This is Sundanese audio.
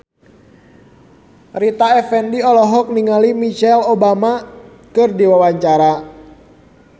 Rita Effendy olohok ningali Michelle Obama keur diwawancara